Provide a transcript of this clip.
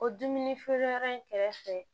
O dumuni feereyɔrɔ in kɛrɛfɛ